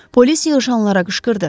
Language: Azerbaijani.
Polis yığışanlara qışqırdı.